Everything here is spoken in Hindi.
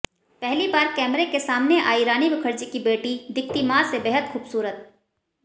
पहली बार कैमरे के सामने आई रानी मुखर्जी की बेटी दिखती माँ से बेहद खूबसूरत